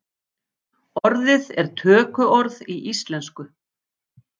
Orðið er tökuorð í íslensku.